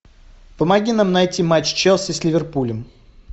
помоги нам найти матч челси с ливерпулем